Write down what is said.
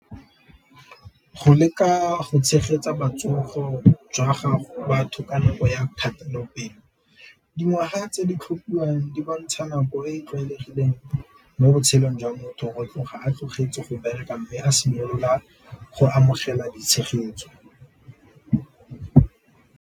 Go leka go tshegetsa jwa gago batho ka nako ya , dingwaga tse di di bontsha nako e e tlwaelegileng mo botshelong jwa motho tloga a tlogetse go bereka mme a simolola go amogela ditshegetso.